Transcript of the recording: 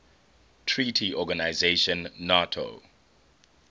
treaty organization nato